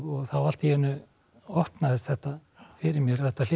þá allt í einu opnaðist þetta fyrir mér að þetta hlyti